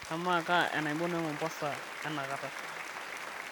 amaa kaa enaibon emombasa enakata